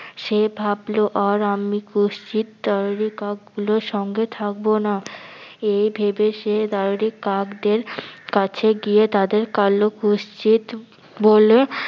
সে ভাবলো আর আমি কুচ্ছিৎ দাররি কাকগুলোর সঙ্গে থাকবো না । এ ভেবে সে দাররিকাকদের কাছে গিয়ে তাদের কালো কুচ্ছিৎ বলে-